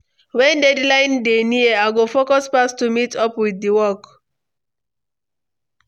When deadline dey near, I go focus pass to meet up with the work.